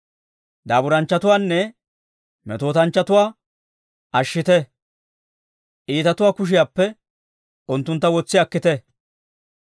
Daaburanchchatuwaanne metootanchchatuwaa ashshite; iitatuwaa kushiyaappe unttuntta wotsi akkite.